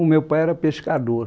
O meu pai era pescador.